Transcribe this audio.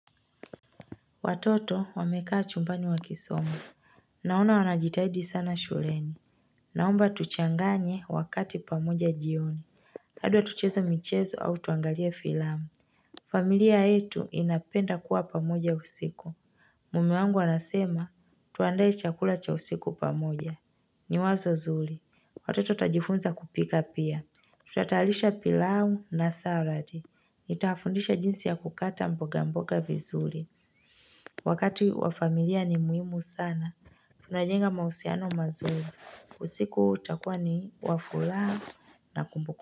Watoto wamekaa chumbani wakisoma. Naona wanajitahidi sana shuleni. Naomba tuchanganye wakati pamoja jioni. Pado tucheza michezo au tuangalia filamu. Familia yetu inapenda kuwa pamoja usiku. Mume wangu anasema tuandae chakula cha usiku pamoja. Ni wazo zuli. Watoto tajifunza kupika pia. Tutatayalisha pilau na salad. Nitawafundisha jinsi ya kukata mboga mboga vizuli. Wakati wa familia ni muhimu sana, tunajenga mahusiano mazuri. Usiku utakua ni wa fulaha na kumbuku.